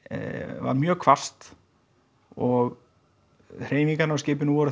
var mjög hvasst og hreyfingarnar á skipinu voru